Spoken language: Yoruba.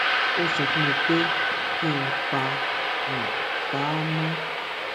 ó sọ fún mi pé kí n pa n pa á mọ